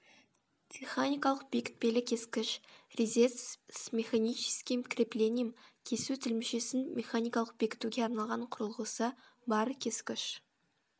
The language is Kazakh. теханикалық бекітпелі кескіш резец с механическим креплением кесу тілімшесін механикалық бекітуге арналған қүрылғысы бар кескіш